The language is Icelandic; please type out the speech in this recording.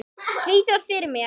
Svíþjóð fyrir mér.